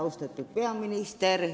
Austatud peaminister!